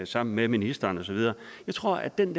sammen med ministeren og så videre jeg tror at den